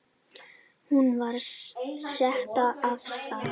Hún var sett af stað.